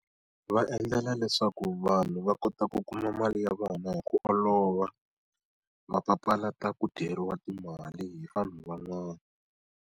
Va endlela leswaku vanhu va kota ku kuma mali ya vana hi ku olova, va papalata ku dyeriwa timali hi vanhu van'wana.